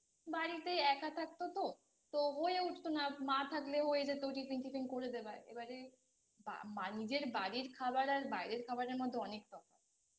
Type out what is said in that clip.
বাড়িতে এক থাকতো তো তো হয়ে উঠতো না আর মা থাকলে হয়ে যেত Tiffin tiffin করে দেওয়া এবারে নিজের বাড়ির খাবার আর বাইরের খাবারের মধ্যে অনেক তফাৎ